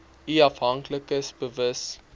u afhanklikes bewus